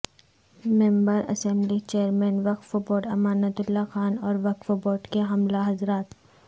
ممبر assembly chairman وقف board Amanatullah Khan اور وقف بورڈ کے عملہ حضرات